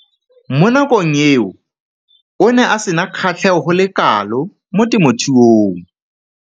Mo nakong eo o ne a sena kgatlhego go le kalo mo temothuong.